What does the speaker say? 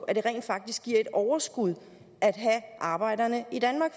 at det rent faktisk giver et overskud at have arbejderne